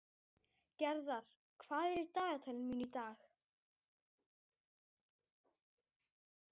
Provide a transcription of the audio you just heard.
Gerðar, hvað er í dagatalinu mínu í dag?